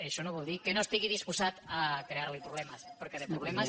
això no vol dir que no estigui disposat a crear li problemes perquè de problemes